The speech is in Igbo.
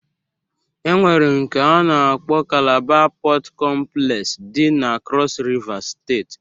E nwere nke a na-akpọ kalaba Pọt kọmplex dị na kros Rivas steeti